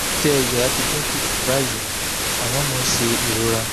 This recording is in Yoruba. ìṣẹ́yára ti dín kù báyìí àmọ́ mo ń ṣe ìrora um